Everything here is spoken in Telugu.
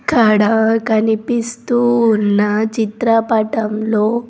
ఇక్కడ కనిపిస్తూ ఉన్న చిత్రపటంలో.